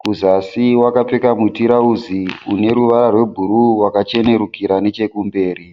Kuzasi wakapfeka mutirauzi uneruvara rwe bhuruu wakachenerukira nechekumberi.